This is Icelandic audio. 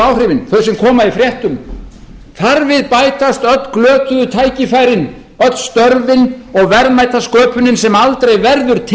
áhrifin þau sem koma í fréttum þar við bætast öll glötuðu tækifærin öll störfin og verðmætasköpunin sem aldrei verður til